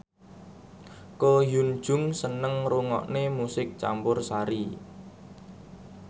Ko Hyun Jung seneng ngrungokne musik campursari